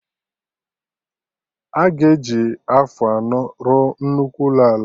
Aga eji afọ anọ rụọ nnukwu ụlọ ala